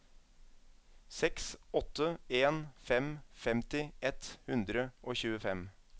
seks åtte en fem femti ett hundre og tjuefem